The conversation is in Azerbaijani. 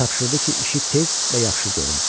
Tapşırdı ki, işi tez və yaxşı görüm.